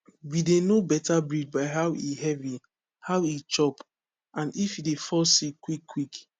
we dey know better breed by how e heavy how e chop and if e dey fall sick quick quick